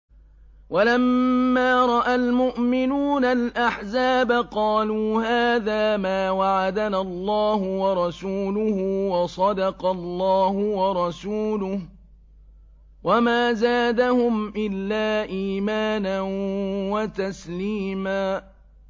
وَلَمَّا رَأَى الْمُؤْمِنُونَ الْأَحْزَابَ قَالُوا هَٰذَا مَا وَعَدَنَا اللَّهُ وَرَسُولُهُ وَصَدَقَ اللَّهُ وَرَسُولُهُ ۚ وَمَا زَادَهُمْ إِلَّا إِيمَانًا وَتَسْلِيمًا